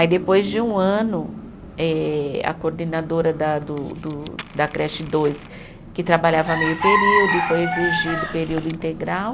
Aí, depois de um ano, eh a coordenadora da do do da creche dois, que trabalhava meio período e foi exigido período integral